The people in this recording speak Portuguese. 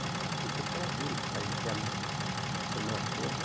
É, naquele tempo era duro ficar interno a semana toda.